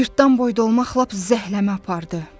Cırtdan boyda olmaq lap zəhləmə apardı.